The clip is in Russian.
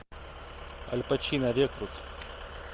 аль пачино рекрут